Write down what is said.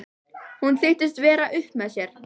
Hún þykist vera upp með sér.